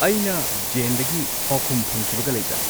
ꯑꯩꯅ ꯖꯦꯟꯗꯒꯤ ꯄꯥꯎꯈꯨꯝ ꯐꯪꯈꯤꯕꯒ ꯂꯩꯕ꯭ꯔꯥ